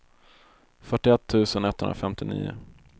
fyrtioett tusen etthundrafemtionio